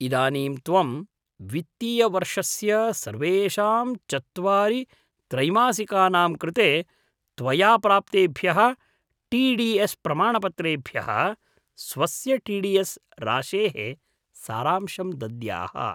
इदानीं त्वं वित्तीयवर्षस्य सर्वेषां चत्वारि त्रैमासिकानां कृते त्वया प्राप्तेभ्यः टी डी एस् प्रमाणपत्रेभ्यः स्वस्य टी डी एस् राशेः सारांशं दद्याः।